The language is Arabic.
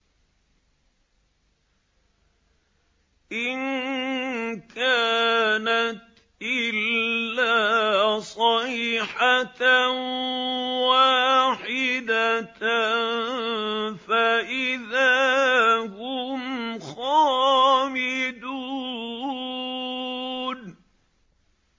إِن كَانَتْ إِلَّا صَيْحَةً وَاحِدَةً فَإِذَا هُمْ خَامِدُونَ